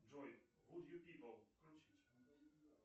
джой вуд ю пипл включить